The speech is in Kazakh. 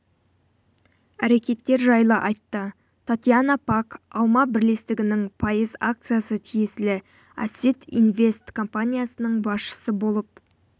әрекеттер жайлы айтты татьяна пак алма бірлестігінің пайыз акциясы тиесілі ассет инвест компаниясының басшысы болып